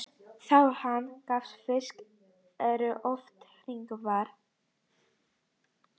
Þar á hann við að garnir fiska eru oft hringvafðar.